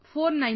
490